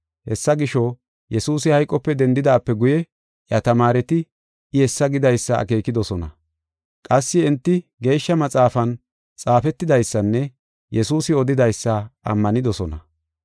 Hessa gisho, Yesuusi hayqope dendidaape guye iya tamaareti I hessa gidaysa akeekidosona. Qassi enti Geeshsha maxaafan xaafetidaysanne Yesuusi odidaysa ammanidosona.